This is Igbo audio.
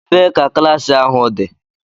Ebee ka klaasị ahu dị?